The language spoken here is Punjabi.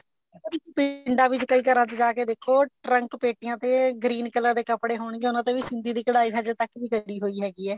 ਪਰ ਪਿੰਡਾ ਵਿੱਚ ਕਈ ਘਰਾ ਚ ਜਾਕੇ ਦੇਖੋ ਟਰੰਕ ਪੇਟੀਆ ਤੇ green color ਦੇ ਕੱਪੜੇ ਹੋਣਗੇ ਉਹਨਾਂ ਤੇ ਵੀ ਸਿੰਧੀ ਦੀ ਕਢਾਈ ਹਜੇ ਤੱਕ ਵੀ ਕੱਡੀ ਹੋਈ ਹੈਗੀ ਐ